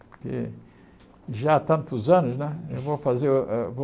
Porque já há tantos anos né, eu vou fazer uh vou